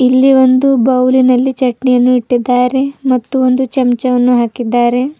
ಇಲ್ಲಿ ಒಂದು ಬೌಲಿನಲ್ಲಿ ಚಟ್ನಿಯನ್ನು ಇಟ್ಟಿದ್ದಾರೆ ಮತ್ತು ಒಂದು ಚಮಚವನ್ನು ಹಾಕಿದ್ದಾರೆ.